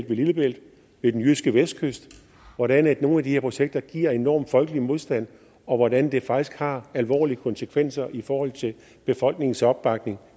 ved lillebælt og ved den jyske vestkyst hvordan nogle af de her projekter giver enorm folkelig modstand og hvordan det faktisk har alvorlige konsekvenser i forhold til befolkningens opbakning